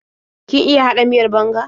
Kin iya haɗa miyar banga?